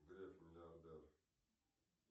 греф миллиардер